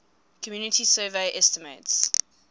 community survey estimates